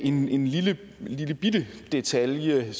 en lillebitte lillebitte detalje